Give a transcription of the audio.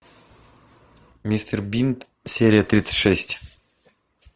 мистер бин серия тридцать шесть